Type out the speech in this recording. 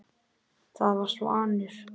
Það var Svanur.